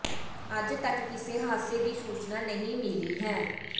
ਅਜੇ ਤੱਕ ਕਿਸੇ ਹਾਦਸੇ ਦੀ ਸੂਚਨਾ ਨਹੀਂ ਮਿਲੀ ਹੈ